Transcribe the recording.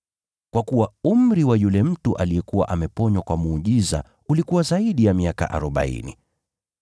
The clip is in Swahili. Kwa kuwa umri wa yule mtu aliyekuwa ameponywa kwa muujiza ulikuwa zaidi ya miaka arobaini.